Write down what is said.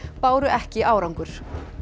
báru ekki árangur